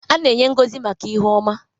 A na-enye ngọzi maka ihu ọma.